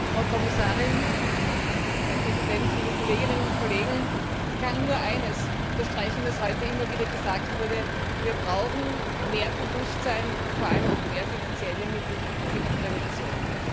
Herr Präsident, Frau Kommissarin, liebe Kolleginnen und Kollegen! Ich kann nur eines unterstreichen, was heute immer wieder gesagt wurde Wir brauchen mehr Bewusstsein und vor allem auch mehr finanzielle Mittel für die Prävention.